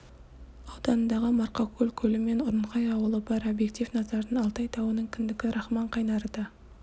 ауданындағы марқакөл көлі мен ұрынхай ауылы бар объектив назарынан алтай тауының кіндігі рахман қайнары да